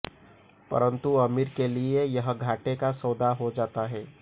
परन्तु अमीर के लिए यह घाटे का सौदा हो जाता है